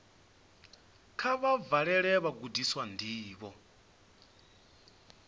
kha vha vhalele vhagudiswa ndivho